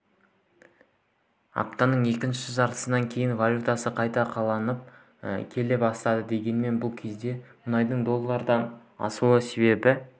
аптаның екінші жартысынан кейін валютасы қайта қалпына келе бастады дегенмен бұл кезде мұнайдың доллардан асуы себепті